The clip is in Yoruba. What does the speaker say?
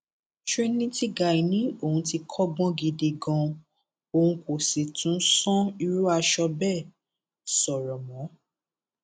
trinity guy ni òun ti kọgbọn gidi ganan òun kò sì tún san irú aṣọ bẹẹ sọrọ mọ